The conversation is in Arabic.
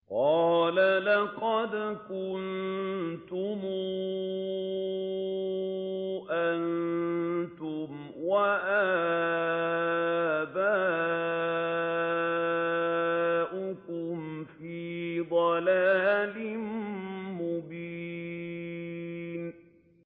قَالَ لَقَدْ كُنتُمْ أَنتُمْ وَآبَاؤُكُمْ فِي ضَلَالٍ مُّبِينٍ